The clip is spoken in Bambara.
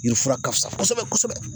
Yirifura ka fisa kosɛbɛ kosɛbɛ